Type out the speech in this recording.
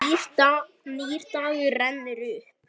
Nýr dagur rennur upp.